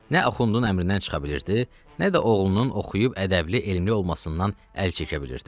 Nə Axundun əmrindən çıxa bilirdi, nə də oğlunun oxuyub ədəbli, elmli olmasından əl çəkə bilirdi.